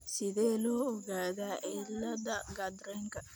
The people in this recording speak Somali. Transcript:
Sidee loo ogaadaa cilada Gardnerka?